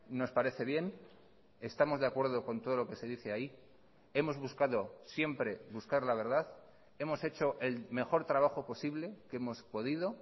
nos parece bien estamos de acuerdo con todo lo que se dice ahí hemos buscado siempre buscar la verdad hemos hecho el mejor trabajo posible que hemos podido